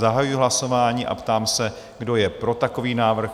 Zahajuji hlasování a ptám se, kdo je pro takový návrh?